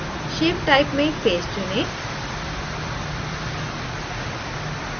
shape type में face चुनें